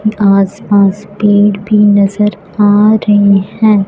आसपास पेड़ भी नजर आ रहे है।